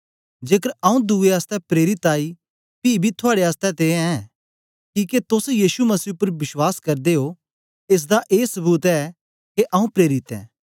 जेकर आऊँ दुए आसतै प्रेरिताई पी बी थुआड़े आसतै ते ऐं किके तोस यीशु मसीह उपर विश्वास करदे ओ एस दा ए सबूत ऐ के आऊँ प्रेरित ऐं